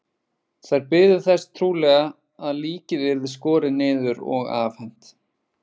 Þær biðu þess trúlega að líkið yrði skorið niður og afhent.